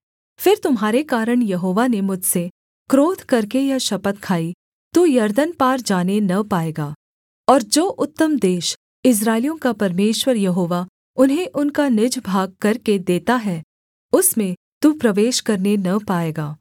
फिर तुम्हारे कारण यहोवा ने मुझसे क्रोध करके यह शपथ खाई तू यरदन पार जाने न पाएगा और जो उत्तम देश इस्राएलियों का परमेश्वर यहोवा उन्हें उनका निज भाग करके देता है उसमें तू प्रवेश करने न पाएगा